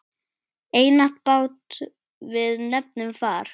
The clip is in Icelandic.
Einatt bát við nefnum far.